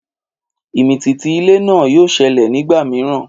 Ìmìtìtì ilẹ̀ náà yóò ṣẹlẹ̀ nígbà mìíràn